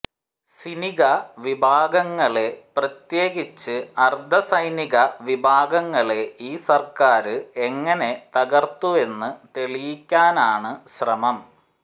സിനിക വിഭാഗങ്ങളെ പ്രത്യേകിച്ച് അര്ധ സൈനിക വിഭാഗങ്ങളെ ഈ സര്ക്കാര് എങ്ങനെ തകര്ത്തുവെന്ന് തെളിയിക്കാനാണ് ശ്രമം